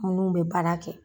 Munnu bɛ baara kɛ